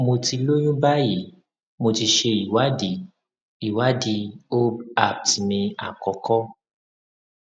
mo ti lóyún báyìí mo ti ṣe ìwádìí ìwádìí ob appt mi àkọkọ